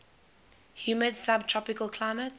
humid subtropical climate